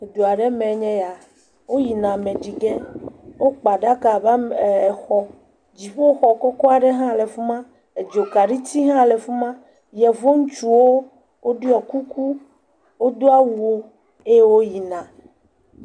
Edu aɖe me enye ya, woyina ameɖige wokpa aɖaka ame ame..eee…exɔ, dziƒoxɔ kɔkɔ aɖe le fi ma, edzokaɖiti hã le fi ma. Yevuŋutsuwo woɖɔ kuku wodo awu eye woyina.